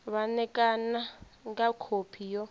vha ṋekane nga khophi yo